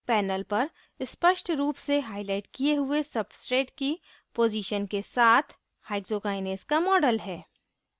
panel पर स्पष्ट रूप से हाईलाइट किये हुए substrate की पोज़ीशन के साथ hexokinase का model है